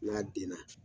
N'a denna